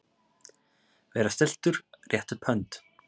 Vera stilltur- rétta upp hönd